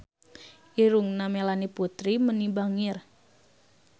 Irungna Melanie Putri bangir